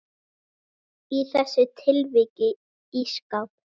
Í þessu tilviki ísskáp.